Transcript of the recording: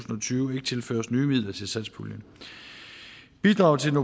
tyve ikke tilføres nye midler til satspuljen bidraget til den